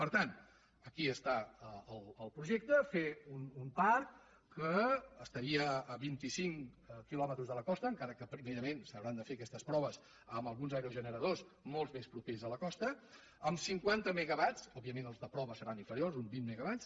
per tant aquí està el projecte fer un parc que estaria a vint i cinc quilòmetres de la costa encara que primerament s’hauran de fer aquestes proves amb alguns aerogeneradors molt més propers a la costa amb cinquanta megawatts òbviament els de prova seran inferiors uns vint megawatts